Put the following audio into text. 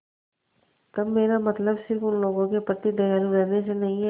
तब मेरा मतलब सिर्फ़ उन लोगों के प्रति दयालु रहने से नहीं है